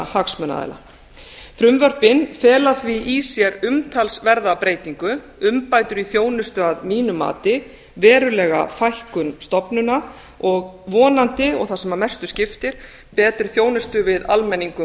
hagsmunaaðila frumvörpin fela því í sér umtalsverða breytingu umbætur í þjónustu að mínu mati verulega fækkun stofnana og vonandi og það sem mestu skiptir betri þjónustu við almenning um